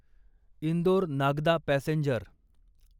Indore Nagda passenger